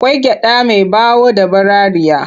Akwai gyaɗa mai ɓawo da ɓararriya.